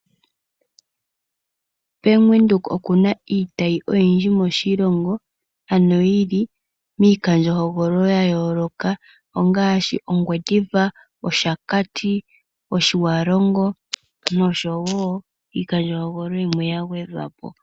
Bank Windhoek oku na iitayi oyindji moshilongo, ano yi li miikandjohogololo ya yooloka, ongaashi Ongwediva, Oshakati, Otjiwarongo nosho wo iikandjohogololo yimwe ya gwedhwa po.